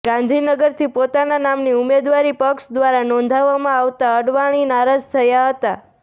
ગાંધીનગરથી પોતાના નામની ઉમેદવારી પક્ષ દ્વારા નોંધાવવામાં આવતા અડવાણી નારાજ થયા હતા